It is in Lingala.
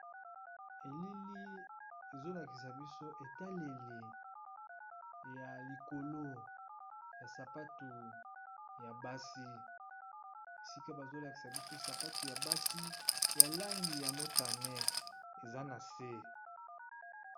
Elili ezolakisa biso etaleli ya likolo ya sapatu ya basi esika bazolakisa biso sapatu ya basi ya langi ya motane eza na se